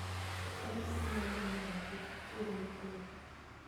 Ere kaka inyalo geng'o mondo pi kik chuer e i brooder?